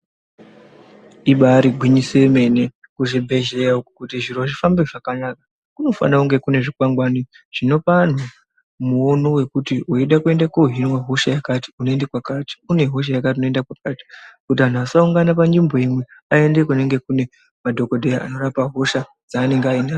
Ibari gwinyise yemene. Kuzvibhedhlera uku kuti zviro zvifambe zvakanaka, kunofanira kunge kune zvikwangwani zvinopa antu muono wekuti weida kuende kohiniya hosha yakati unoenda kwakati, kuti vantu vasaungane panzvimbo imwe aende kumadhokodheya anorapa hosha dzaanende anadzo.